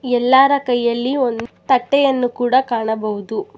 ಎಲ್ಲಾರ ಕೈಯಲ್ಲಿ ಒಂದು ತಟ್ಟೆಯನ್ನು ಕೂಡ ಕಾಣಬಹುದು.